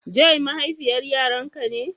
Joy mahaifiyar Yaran ka ne?